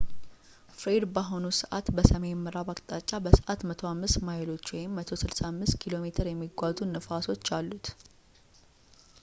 ፍሬድ በአሁን ሰዕት በሰሜን ምዕራብ አቅጣጫ በሰዕት 105 ማይሎች 165 ኪሜ የሚጓዙ ንፋሶች እሉት